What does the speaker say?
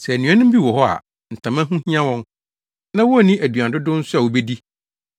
Sɛ anuanom bi wɔ hɔ a ntama ho hia wɔn na wonni aduan dodow nso a wobedi,